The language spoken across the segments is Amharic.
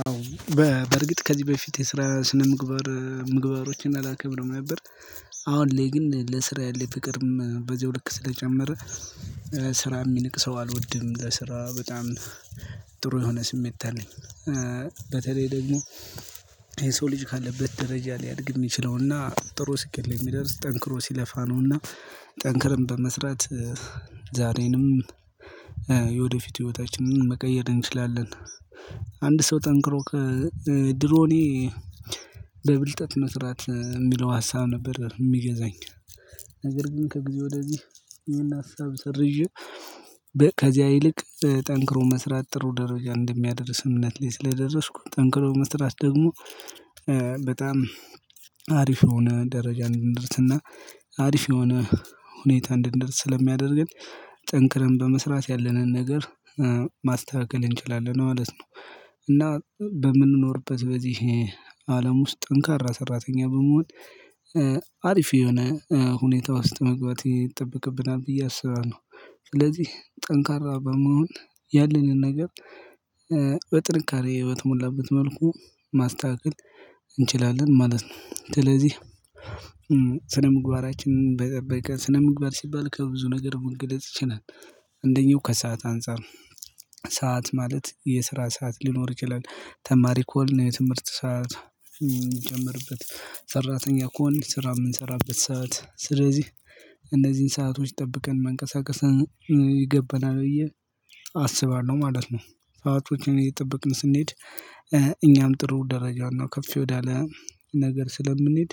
አዎ በእርግጥ ከዚህ በፊት የስራ ስነ ምግባር ምግባሮችን አላከብርም ነበር። አሁን ላይ ግን ለስራ ያለው ፍቅርም በዚሁ ልክ ስለጨመረ። ስራ የሚንቅ ሰው አልወድም ለስራ በጣም ጥሩ የሆነ ስሜት አለኝ። በተለይ ደግሞ የሰው ልጅ ካለበት ደረጃ ሊያድግ የሚችለውና ጥሩ ስኬት ላይ የሚደርስ ጠንክሮ ሲለፋ ነውና። ጠንክረን በመስራት ዛሬንም የወደፊት ህይወታችንን መቀየር እንችላለን። አንድ ሰው ጠንክሮ ከድሮኔ በብልጠት መስራት የሚለው ሀሳብ ነበር የሚገዛኝ። ነገር ግን ከጊዜ ወደዚህ ይሄን ሀሳብ ሰርዤ። ከዚያ ይልቅ ጠንክሮ መስራት ጥሩ ደረጃ እንደሚያደርስ እምነት ላይ ስለደረስኩ ጠንክሮ መስራት ደግሞ። በጣም አሪፍ የሆነ ደረጃ እንድርስና አሪፍ የሆነ ሁኔታ እንድርስ ስለሚያደርገን። ጠንክረን በመስራት ያለንን ነገር ማስተካከል እንችላለን ማለት ነው። እና በምንኖርበት በዚህ አለም ውስጥ ጠንካራ ሰራተኛ በመሆን አሪፍ የሆነ ሁኔታ ውስጥ መግባት ይጠብቅብናል ብዬ አስባለሁ። ስለዚህ ጠንካራ በመሆን ያለንን ነገር በጥንካሬ ህይወት ሞላበት መልኩ ማስተካከል እንችላለን ማለት ነው። ስለዚህ ስነ ምግባራችንን በጠበቀ ስነ ምግባር ሲባል ከብዙ ነገር መንገድ ይችላል። እንደኛው ከሰአት አንፃር ሰዓት ማለት የስራ ሰዓት ሊኖር ይችላል ተማሪ ከሆን የትምህርት ሰዓት የምጀምርበት ሰራተኛ ከሆንን ስራ የምንሰራበት ሰዓት ስለዚህ እነዚህን ሰአቶች ጠብቀን መንቀሳቀስ ይገባናል ብዬ አስባለሁ ማለት ነው። ሰአቶችን እየጠበቅን ስንሄድ እኛም ጥሩ ደረጃና ከፍ ወዳለ ነገር ስለምንሄድ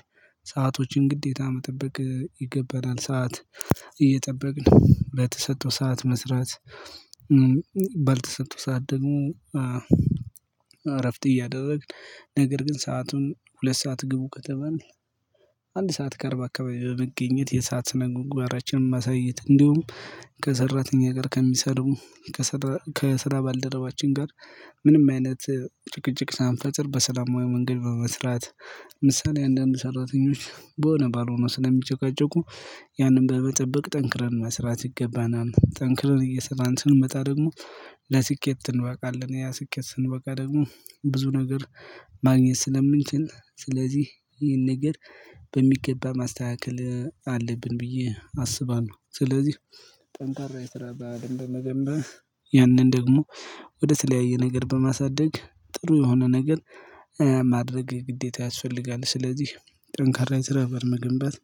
ሰአቶችን ግዴታ መጠበቅ ይገባናል ሰዓት እየጠበቅን በተሰጠው ሰዓት መስራት። ባልተሰጠው ሰዓት ደግሞ እረፍት እያደረግን ነገር ግን ሰአቱን ሁለት ሰዓት ግቡ ከተባልን። አንድ ሰዓት ከአርባ አካባቢ በመገኘት የሰዓት ስነ ምግባራችንን ማሳየት እንዲሁም ከሰራተኛ ጋር ከሚሰሩ ከስራ ከስራ ባልደረባችን ጋር ምንም አይነት ጭቅጭቅ ሳንፈጥር በሰላማዊ መንገድ በመስራት። ምሳሌ አንዳንድ ሰራተኞች በሆነ ባልሆኑ ስለሚጨቃጨቁ ያንን በመጠበቅ ጠንክረን መስራት ይገባናል። ጠንክረን እየሰራን ስንመጣ ደግሞ ለስኬት እንበቃለን። ያ ስኬት ስንበቃ ደግሞ ብዙ ነገር ማግኘት ስለምንችል ስለዚህ ይሄን ነገር በሚገባ ማስተካከል አለብን ብዬ አስባለሁ። ስለዚህ ጠንካራ የስራ ባህልን በመገንባት ያንን ደግሞ ወደ ተለያየ ነገር በማሳደግ ጥሩ የሆነ ነገር ማድረግ ግዴታ ያስፈልጋል። ስለዚህ ጠንካራ የስራ በር መገንባት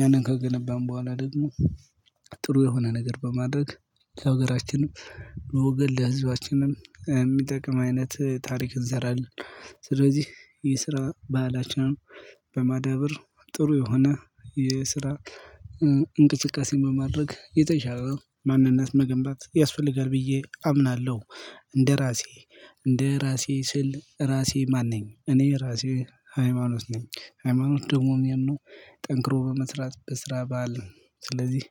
ያንን ከገነባን በኋላ ደግሞ ጥሩ የሆነ ነገር በማድረግ ሀገራችንን ለወገን ለህዝባችንም የሚጠቅም አይነት ታሪክ እንሰራለን። ስለዚህ የስራ ባህላችንን በማዳበር ጥሩ የሆነ የስራ እንቅስቃሴ በማድረግ የተሻለ ማንነት መገንባት ያስፈልጋል ብዬ አምናለሁ። እንደራሴ እንደራሴ ስል ራሴ ማን ነኝ እኔ ራሴ ሃይማኖት ነኝ። ሃይማኖት ደግሞ የሚያምነው ጠንክሮ በመስራት በስራ ባል ስለዚህ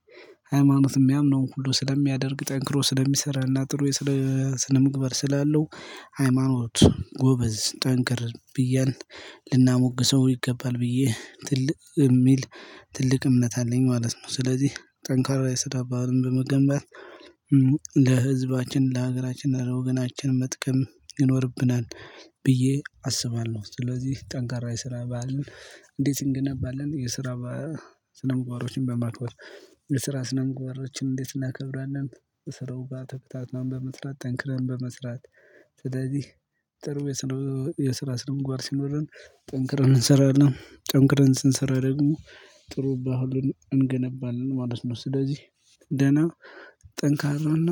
ሃይማኖት የሚያምነውን ሁሉ ስለሚያደርግ ጠንክሮ ስለሚሰራና ጥሩ ስለ ስነ ምግባር ስላለው ሃይማኖት ጎበዝ ጠንክር ብያን ልናሞግሰው ይገባል ብዬ ትልቅ የሚል ትልቅ እምነት አለኝ ማለት ነው። ስለዚህ ጠንካራ ላይ ስራ ባህልን በመገንባት ለህዝባችን ለሀገራችን ለወገናችን መጥቀም ይኖርብናል። ብዬ አስባለሁ ስለዚህ ጠንካራ የሰራ ባህል እንዴት እንገነባለን? የስራ ስነ ምግባሮችን በማክበር የስራ ስነ ምግባሮችን እንዴት እናከብራለን? በስራው ባተብታትም በመስራት ጠንክረን በመስራት ስለዚህ ጥሩ የስራ ስነው ምግባር ሲኖረን ጠንክረን እንሰራለን ጠንክረን ስንሰራ ደግሞ ጥሩ ባህልን እንገነባለን ማለት ነው። ስለዚህ ደህና ጠንካራና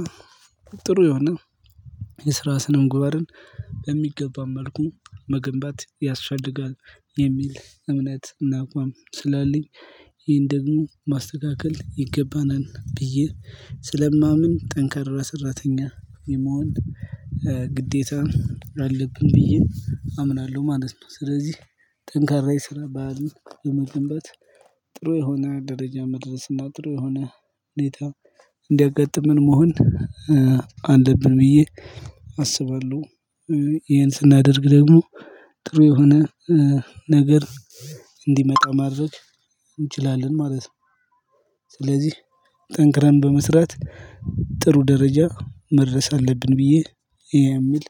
ጥሩ የሆነ የስራ ስነምግባርን በሚገባው መልኩ መገንባት ያስፈልጋል የሚል እምነት እና አቋም ስላልኝ። ይህን ደግሞ ማስተካከል ይገባናል ብዬ ስለማምን ጠንካራ ሰራተኛ የመሆን ግዴታ አለብን ብዬ አምናለሁ ማለት ነው። ስለዚህ ጠንካራ የሰራ ባሕልን በመገንባት ጥሩ የሆነ ደረጃ መድረስ እና ጥሩ የሆነ ሁኔታ እንዲያጋጥምን መሆን አለብን ብዬ አስባለሁ። ይሄን ስናደርግ ደግሞ ጥሩ የሆነ ነገር እንዲመጣ ማድረግ እንችላለን ማለት ነው። ስለዚህ ጠንክረን በመስራት ጥሩ ደረጃ መድረስ አለብን ብዬ የሚል